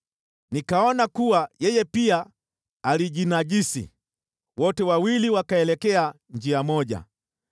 Nikaona kuwa yeye pia alijinajisi, wote wawili wakaelekea njia moja.